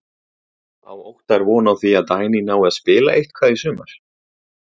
Á Óttar von á því að Dagný nái að spila eitthvað í sumar?